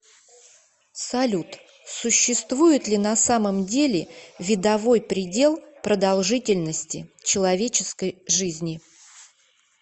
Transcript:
салют существует ли на самом деле видовой предел продолжительности человеческой жизни